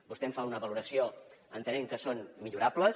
vostè en fa una valoració entenent que són millorables